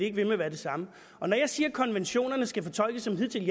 ikke ved med at være det samme når jeg siger at konventionerne skal fortolkes som hidtil